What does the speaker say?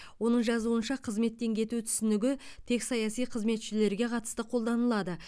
оның жазуынша қызметтен кету түсінігі тек саяси қызметшілерге қатысты қолданылады